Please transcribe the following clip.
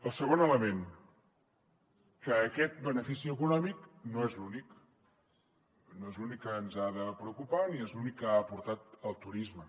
el segon element que aquest benefici econòmic no és l’únic no és l’únic que ens ha de preocupar ni és l’únic que ha aportat el turisme